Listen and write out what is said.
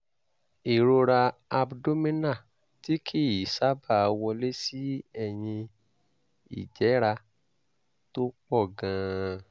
ìrora abdominal tí kì í sábà wọlé sí ẹ̀yìn ìjẹ́ra tó pọ̀ gan-an